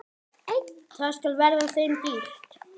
Það skal verða þeim dýrt!